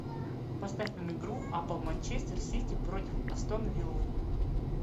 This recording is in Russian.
поставь нам игру апл манчестер сити против астон виллы